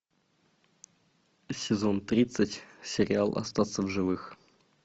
сезон тридцать сериал остаться в живых